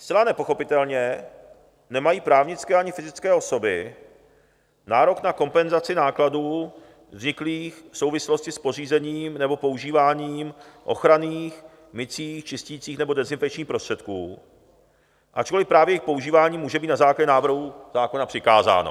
Zcela nepochopitelně nemají právnické ani fyzické osoby nárok na kompenzaci nákladů vzniklých v souvislosti s pořízením nebo používáním ochranných, mycích, čisticích nebo dezinfekčních prostředků, ačkoliv právě jejich používání může být na základě návrhu zákona přikázáno.